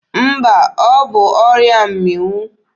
Mba, ọ bụ ọrịa mmịnwụ.